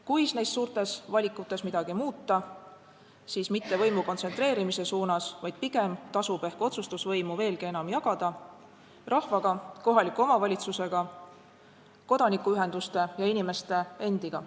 Kui neis suurtes valikutes midagi muuta, siis mitte võimu kontsentreerimise poole, vaid pigem tasub ehk otsustusvõimu veelgi enam jagada – rahvaga, kohaliku omavalitsusega, kodanikuühenduste ja inimeste endiga.